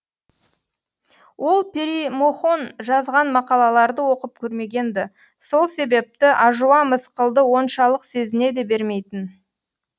ол перимохон жазған мақалаларды оқып көрмегенді сол себепті ажуа мысқылды оншалық сезіне де бермейтін